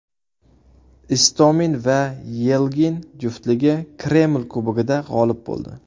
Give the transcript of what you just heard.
Istomin va Yelgin juftligi Kreml Kubogida g‘olib bo‘ldi.